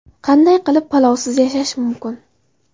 Qanday qilib palovsiz yashash mumkin?